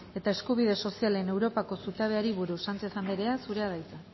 eta eskubide sozialen europako zutabeari buruz sánchez andrea zurea da hitza